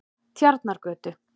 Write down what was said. Tjarnargötu